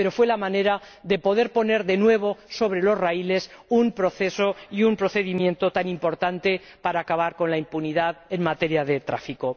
Pero fue la manera de poder poner de nuevo sobre los raíles un proceso y un procedimiento tan importante para acabar con la impunidad en materia de tráfico.